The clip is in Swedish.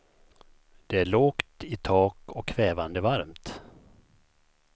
Det är lågt i tak och kvävande varmt.